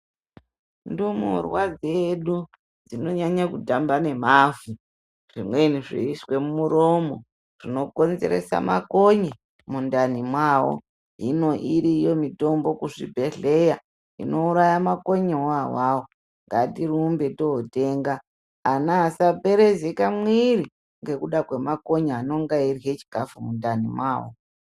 Ndimurwa dzedu dzino nyanye kutambe nemavhu, zvimweni zveiiswe muromo zvino konzeresa makonye mundani mwavo. Hino iriyo mitombo kuzvibhedhlera inouraya makonye ona awawo. Ngatirumbe kootenga ana asaperezeka mumwiri ngekuda kwemakonye anonga eirya zvikafu mundani mwavo.